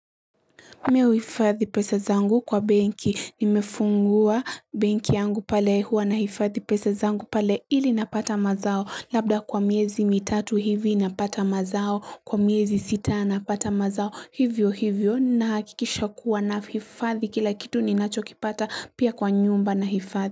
Mimi huifadhi pesa zangu kwa benki, nimefungua. Benki yangu pale huwa nahifadhi pesa zangu pale ili napata mazao, labda kwa miezi mitatu hivi napata mazao, kwa miezi sita napata mazao. Hivyo hivyo nahakikisha kuwa nahifadhi kila kitu ninachokipata pia kwa nyumba nahifadhi.